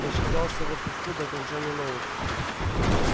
я считался в отпуску до окончания наук